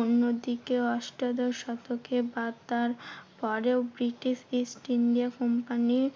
অন্যদিকে অষ্টাদশ শতকে বাগদার পরেও ব্রিটিশ east india company র